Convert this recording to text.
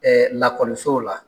lakɔliso la.